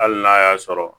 Hali n'a y'a sɔrɔ